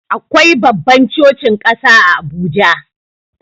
Akwai babban cocin ƙasa a Abuja.